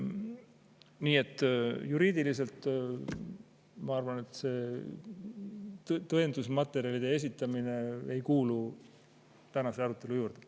Nii et ma arvan, et juriidiliste tõendusmaterjalide esitamine ei kuulu tänase arutelu juurde.